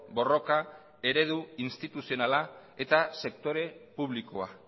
borroka eredu instituzionala eta sektore publikoa